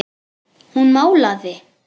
Hún málaði.